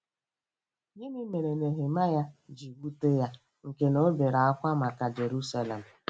Gịnị mere Nehemaya ji wute ya nke na o bere ákwá maka Jerusalem?